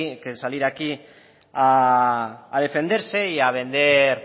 que salir aquí a defenderse y a vender